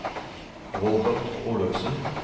Robert Olufsen